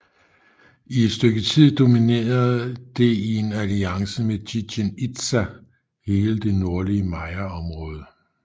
I et stykke tid dominerede det i en alliance med Chichen Itza hele det nordlige mayaområde